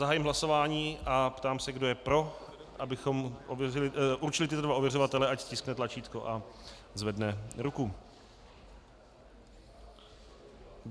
Zahájím hlasování a ptám se, kdo je pro, abychom určili tyto dva ověřovatele, ať stiskne tlačítko a zvedne ruku.